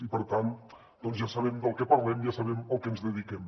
i per tant ja sabem del que parlem ja sabem al que ens dediquem